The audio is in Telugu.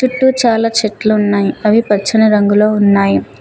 చుట్టూ చాలా చెట్లు ఉన్నాయి అవి పచ్చని రంగులో ఉన్నాయి.